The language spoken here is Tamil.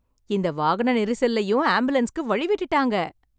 இந்த வாகன நெரிசல்லயும் ஆம்புலன்ஸ்க்கு வழி விட்டுட்டாங்க